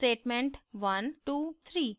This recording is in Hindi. statement 123